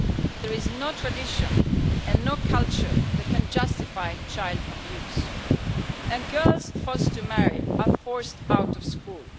There is no tradition and no culture that can justify child abuse. Girls forced to marry are forced out of school.